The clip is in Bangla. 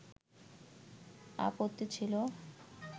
আপত্তি ছিল